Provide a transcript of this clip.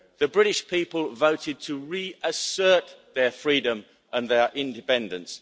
The British people voted to reassert their freedom and their independence.